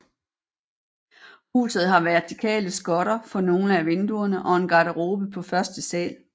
Huset har vertikale skotter for nogle af vinduerne og en garderobe på første sal